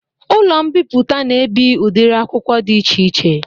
Ụlọ mbiputa na ebi udiri akwụkwọ dị iche iche